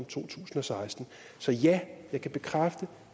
to tusind og seksten så ja jeg kan bekræfte